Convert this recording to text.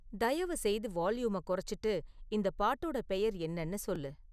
தயவுசெய்து வால்யூமை குறைச்சிட்டு இந்த பாட்டோட பெயர் என்னனு சொல்லு